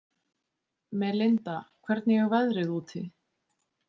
Melinda, hvernig er veðrið úti?